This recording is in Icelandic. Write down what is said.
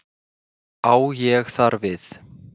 Á ég þar við